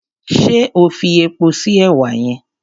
Ṣé o fi epo sí èwà yẹn?